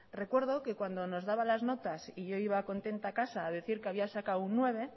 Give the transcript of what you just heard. recuerdo que cuando nos daban las notas y yo iba contenta a casa a decir que había sacado un nueve